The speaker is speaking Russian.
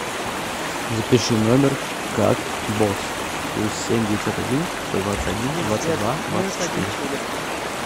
запиши номер как босс плюс семь девятьсот один сто двадцать один двадцать два двадцать четыре